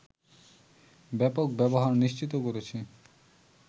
ব্যাপক ব্যবহার নিশ্চিত করেছি